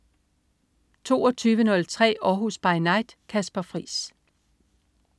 22.03 Århus By Night. Kasper Friis